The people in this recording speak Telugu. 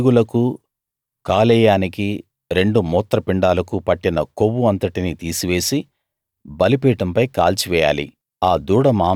దాని పేగులకు కాలేయానికి రెండు మూత్రపిండాలకు పట్టిన కొవ్వు అంతటినీ తీసివేసి బలిపీఠంపై కాల్చివెయ్యాలి